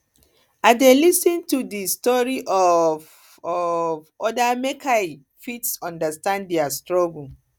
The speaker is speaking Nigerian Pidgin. i dey lis ten to di um stories of um odas make i um fit understand dia struggles